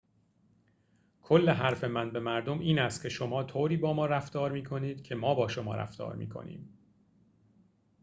کل حرف من به مردم این است که شما طوری با ما رفتار می‌کنید که ما با شما رفتار می‌کنیم